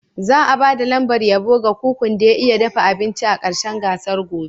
Za'a ba da lambar yabo ga kukun da ya iya dafa abinci a ƙarshen gasar gobe.